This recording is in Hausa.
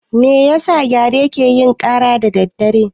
Me yasa gyare ke yin ƙara da daddare?